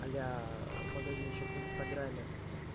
а-ля магазинчик в инстаграме